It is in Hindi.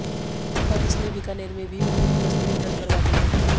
अब इसने बीकानेर में भी अपनी उपस्थिति दर्ज करवा दी है